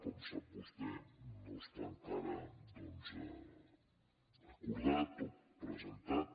com sap vostè no està encara doncs acordat o presentat